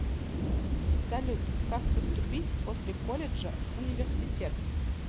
салют как поступить после колледжа в университет